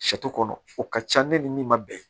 kɔnɔ o ka ca ne ni min ma bɛn